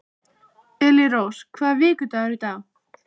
Elírós, hvaða vikudagur er í dag?